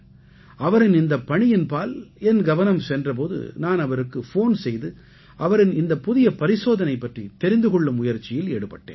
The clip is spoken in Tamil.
அவரின் இந்தப் பணியின் பால் என் கவனம் சென்ற போது நான் அவருக்கு ஃபோன் செய்து அவரின் இந்தப் புதிய பரிசோதனை பற்றித் தெரிந்து கொள்ளும் முயற்சியில் ஈடுபட்டேன்